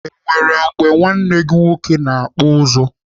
Enwere mgbe nwanne gị nwoke na-akpụ ụzụ?